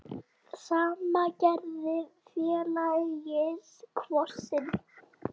Sama gerði félagið Kvosin.